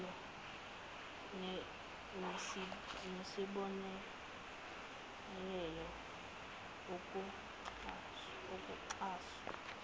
iholo nesibonelelo ukuxhaswa